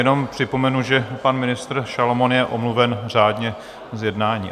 Jenom připomenu, že pan ministr Šalomoun je omluven řádně z jednání.